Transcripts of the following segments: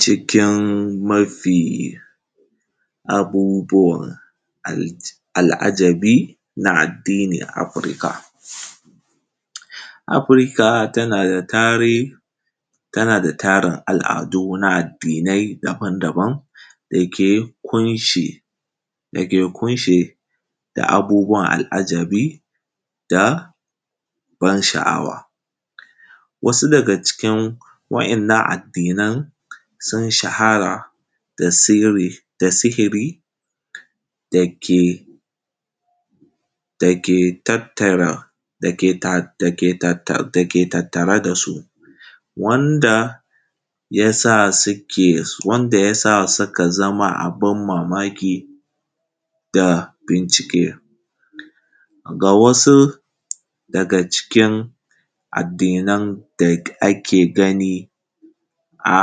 Cikin mafi abubuwan al’ajabi na addini a Afirka. Afirka tana da tari, tana da tarin al’adu na addinai daban-daban dake kunshi, dake kunshe da abubuwan al’ajabi da ban sha’awa. Wasu daga cikin waɗannan addinan sun shahara da siri da sihiri dake tattara dake tat dake tattare da su wanda ya sa, wanda ya sa suka zama abin mamaki da bincike. Ga wasu daga cikin addinan da ake gani a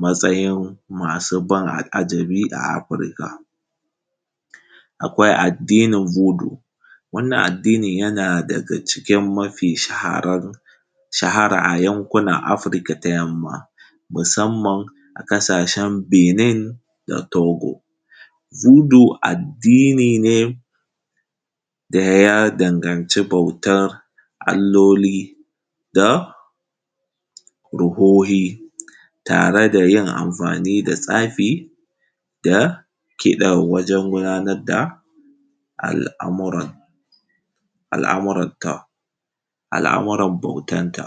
matsayin abin ban al’ajabi a Afirka, akwai vudu, wannan addini yana daga cikin mafi shaharar, mafi shahara acikin yankunan Afirka ta yamma, musamman a ƙasashen Benin da Togo. Vudu addini ne daya danganci bautan allaloli da ruhohi tare da yin amfani da tsafi da kiɗa wajen gudanar da al’amuran, al’amuranta, al’amuran bautan ta.